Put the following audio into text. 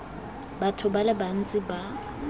batho ba le bantsi ba